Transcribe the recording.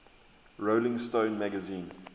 rolling stone magazine